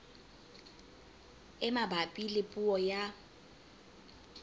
e mabapi le puo ya